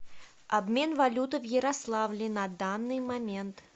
обмен валюты в ярославле на данный момент